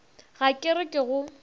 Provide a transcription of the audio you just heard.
ga ke re ke go